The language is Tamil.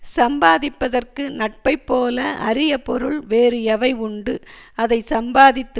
சம்பாதிப்பதற்கு நட்பை போல அரிய பொருள் வேறு எவை உண்டு அதை சம்பாதித்து